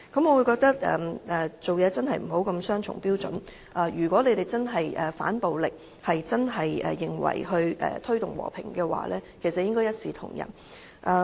我認為行事不應雙重標準，如果他們真的要反暴力，真的認為要推動和平，便應一視同仁。